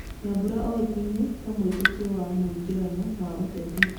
Nyambura oekaine ta mwĩtĩkia wa mũingerano wa ũteti